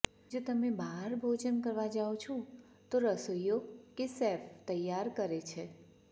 જો તમે બહાર ભોજન કરવા જાવ છો તો રસોઇયો કે શેફ તૈયાર કરે છે